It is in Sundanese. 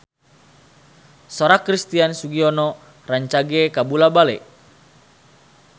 Sora Christian Sugiono rancage kabula-bale